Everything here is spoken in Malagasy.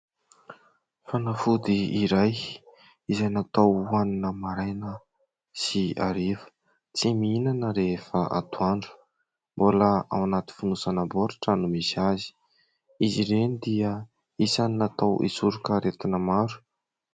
Fanafody iray izay natao hohanina maraina sy hariva, tsy mihinana rehefa atoandro. Mbola ao anaty fonosana baoritra no misy azy. Izy ireny dia isany natao hisoroka aretina maro.